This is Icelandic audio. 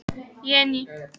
Jenný